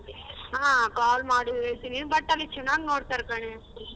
ಹಾ call ಮಾಡು ಹೇಳ್ತೀನಿ but ಅಲ್ಲಿ ಚನಾಗ್ ನೋಡ್ತಾರೆ ಕಣೇ.